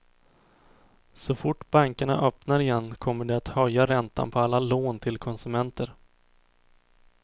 Så fort bankerna öppnar igen kommer de att höja räntan på alla lån till konsumenter.